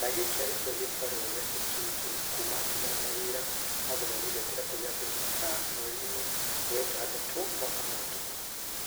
na gĩkĩ arĩkio gĩbarua gĩake kĩngi kuma atigana na wĩra wa gũthomithia kĩrabu kĩa City Stars mweri-inĩ wa ĩtandatu mwaka mũhĩtũku